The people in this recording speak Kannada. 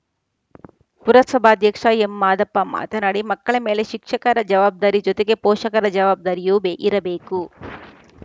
ಪುರಸಭಾಧ್ಯಕ್ಷ ಎಂಮಾದಪ್ಪ ಮಾತನಾಡಿ ಮಕ್ಕಳ ಮೇಲೆ ಶಿಕ್ಷಕರ ಜವಾಬ್ದಾರಿ ಜೊತೆಗೆ ಪೋಷಕರ ಜವಾಬ್ದಾರಿಯೂ ಬೇ ಇರಬೇಕು